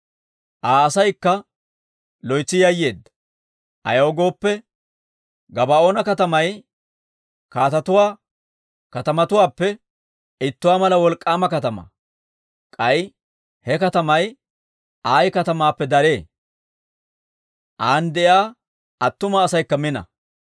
Aa asaykka loytsi yayyeedda. Ayaw gooppe, Gabaa'oona katamay kaatetuwaa katamatuwaappe ittuwaa mala wolk'k'aama katamaa; k'ay he katamay Ayi katamaappe daree; an de'iyaa attuma asaykka mina.